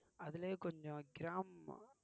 அதிலயே கொஞ்சம் gram